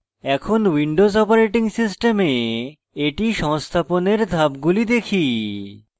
এখন windows operating system এটি সংস্থাপনের ধাপগুলি দেখি